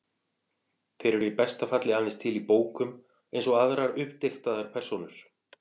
Þeir eru í besta falli aðeins til í bókum, eins og aðrar uppdiktaðar persónur.